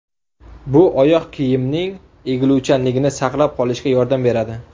Bu oyoq kiyimning egiluvchanligini saqlab qolishga yordam beradi.